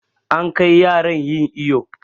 An kai yaran yin iƴo.